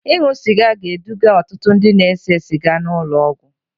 Ịṅụ sịga ga-eduga ọtụtụ ndị na-ese siga n'ụlọ ọgwụ